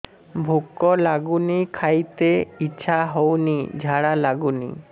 ଭୁକ ଲାଗୁନି ଖାଇତେ ଇଛା ହଉନି ଝାଡ଼ା ଲାଗୁନି